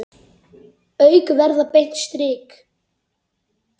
Augun verða beint strik.